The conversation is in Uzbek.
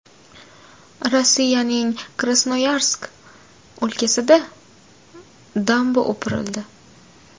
Rossiyaning Krasnoyarsk o‘lkasida damba o‘pirildi.